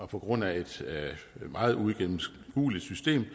på grund af et meget uigennemskueligt system